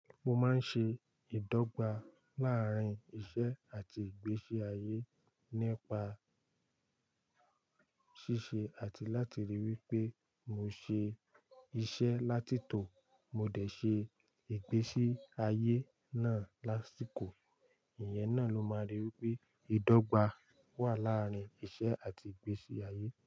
Mo máa ń ṣe ìdọ́gba láàárín iṣẹ́ àti ìgbésí ayé nípa ṣíṣe àti láti rí i wí pé mo ṣe iṣẹ́ látítò mo dẹ̀ ṣe ìgbésí ayé náà lásìkò. Ìyẹn náà ló máa rí wí pé ìdọ́gba wà láàárín iṣẹ́ àti ìgbésí ayé.